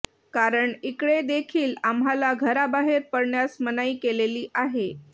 कारण इकडे देखील आम्हांला घराबाहेर पडण्यास मनाई केलेली आहे